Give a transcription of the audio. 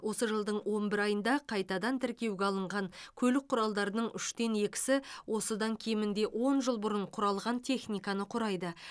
осы жылдың он бір айында қайтадан тіркеуге алынған көлік құралдарының үштен екісі осыдан кемінде он жыл бұрын құралған техниканы құрайды